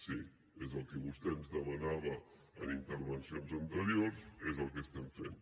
sí és el que vostè ens demanava en intervencions anteriors és el que estem fent